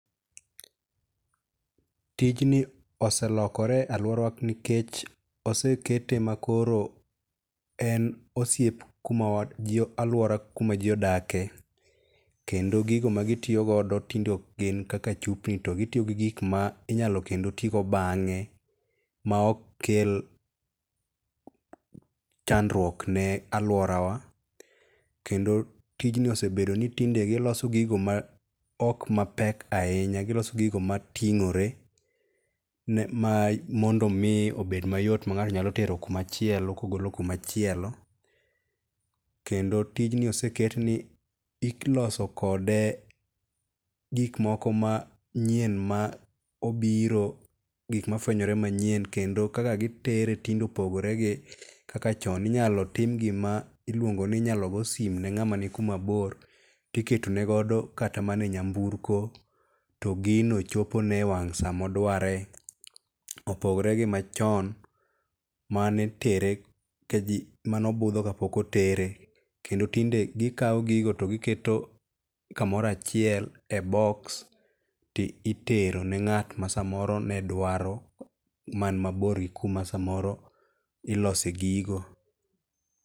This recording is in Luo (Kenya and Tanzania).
Tijni oselokore e aluorawa nikech osekete ma koro en osiep kuma kuma ji aluora kuma ji odake. Kendo gigo ma gitiyogodo tinde ok gin kaka chupni to gitiyo gi gik ma inyalo kendo ti go bang'e ma ok kel chandruok ne aluorawa. Kendo tijni osebedo ni tinde giloso gigo ma ok ma pek ahinya. Giloso gigo mating\ore ma mondo mi obed mayot ma ng'ato nyalo tero kumachielo kogolo kumachielo. Kendo tij ni oseket ni iloso kode gik moko manyien ma obiro gika mafuenyore manyiek kendo kaka gitere tinde opogore gi kaka chon. Inyalo tim gima iluongo ni inyalo go simo ne ng'ana ni kuma bor tikenegodo kata mana e nyamnburko to gino chopo ne e wang sa moduoare. Opogore gi machon manitere manobudho kapok otere. Kendo tinde gikaw gigo to giketo kamoro achiel e box ti itero ne ng'at ma samoro ne dwaro man mabor gi kuma samoro ilose gigo.